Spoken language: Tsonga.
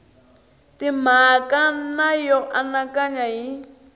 timhaka na yo anakanya hi